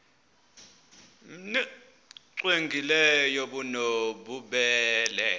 nbu cwengileyo obunobubele